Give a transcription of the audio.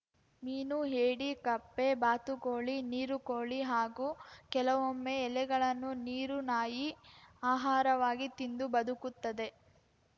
ಮೀನು ಏಡಿ ಕಪ್ಪೆ ಬಾತುಕೋಳಿ ನೀರುಕೋಳಿ ಹಾಗೂ ಕೆಲವೊಮ್ಮೆ ಎಲೆಗಳನ್ನು ನೀರುನಾಯಿ ಆಹಾರವಾಗಿ ತಿಂದು ಬದುಕುತ್ತದೆ